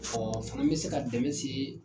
fana bɛ se ka dɛmɛn se